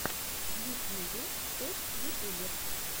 в ютьюбе топ ютубер